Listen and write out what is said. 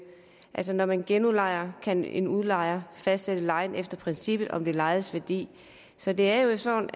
at når man genudlejer kan en udlejer fastsætte lejen efter princippet om det lejedes værdi så det er jo sådan